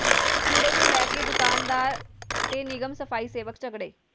ਕੂੜੇ ਨੂੰ ਲੈ ਕੇ ਦੁਕਾਨਦਾਰ ਤੇ ਨਿਗਮ ਸਫ਼ਾਈ ਸੇਵਕ ਝਗੜੇ